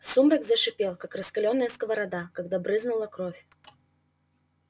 сумрак зашипел как раскалённая сковорода когда брызнула кровь